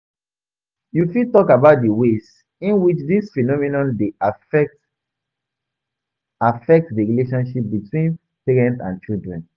You fit talk about di ways in which dis phenomenon dey affect affect di relationship between parents and children.